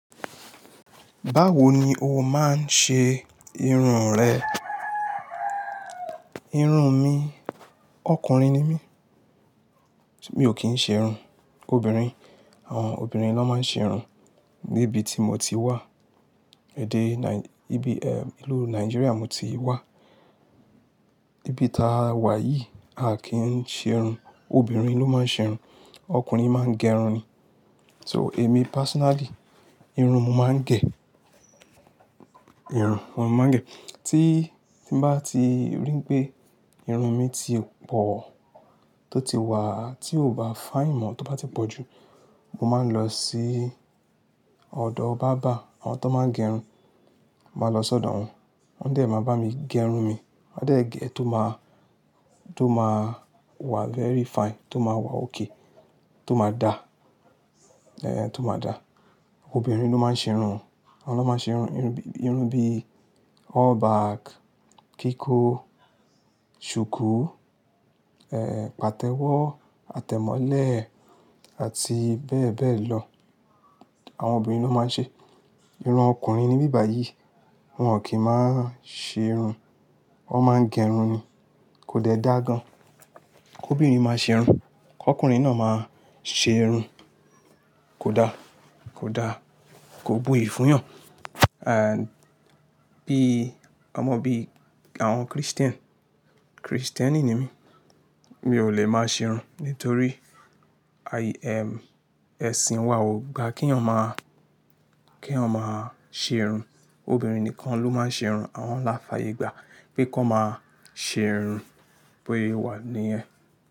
Báwo ni o máa ń ṣe irun rẹ? Irun mi, ọkùnrin ni mi mi o kii se irun. Obìnrin, àwọn obìnrin ló máa ń ṣe irun. Níbi tí mo ti wà, èdè Nai-- ibi, eh, ìlú Nigeria mo ti wà. Ibi táa wà yìí, a kì í sẹ irun. Obìnrin ló máa ń ṣe irun. Ọkùnrin máa ń gẹrun ni. So èmi personally irun mo máa n ge. Irun mo máa ń gẹ̀. Tí, tí bá ti ri pé irun mi ti pọ̀, tó ti wà, tí ó bá fine mọ́, tó bá ti pọ̀ jù, mo máa ń lọ sí ọ̀dọ̀ bàbá, àwọn tó máa ń gẹrun. Mo máa lọ sí ọ̀dọ̀ wọn. Wọ́n dẹ̀ máa bá mi gẹrun mi. Ma de gee to ma to ma wa very fine, to ma wa ok to ma da to ma da. Obìnrin ló máa ń ṣe irun. Wọ́n ló máa ń ṣe irun. Irun bíi, irun bíi all back, kíkó, ṣùkú, eh, pàtẹ́wọ́, àtẹ̀mọ́lẹ̀ àti bẹ́ẹ̀ bẹ́ẹ̀ lọ. Àwọn ọbinrin ló máa ń ṣe. Irun ọkùnrin ní bíbà yìí, wọn kí máa ń ṣe irun. Wọ́n máa ń gẹrun ni. Kò dẹ dá gan. Kóbinrin máa ṣe irun. K'ọkùnrin náà máa ṣe ìrun. Kò daa, kò daa. Kò buyi fúyàn. And bíi ọmọ bíi àwọn christian kristeni ni mi o le máa se irun nítorí aye ẹ̀sìn wa o gba ki èèyàn máa se irun. Obìnrin nìkan ló máa ń ṣe irun. Àwọn lá fàyè gbà pé kón máa ṣe ìrun bóse wà niyen.